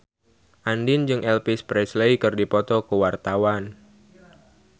Andien jeung Elvis Presley keur dipoto ku wartawan